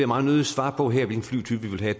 meget nødig svare på her altså hvilken flytype vi vil have